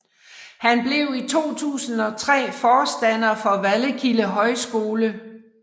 Han blev i 2003 forstander for Vallekilde Højskole